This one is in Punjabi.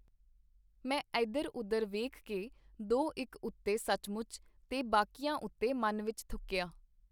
ਮੈਂ ਏਧਰ ਓਧਰ ਵੇਖ ਕੇ ਦੋ-ਇਕ ਉੱਤੇ ਸੱਚਮੁੱਚ, ਤੇ ਬਾਕੀਆਂ ਉਤੇ ਮਨ ਵਿਚ ਥੁੱਕੀਆ.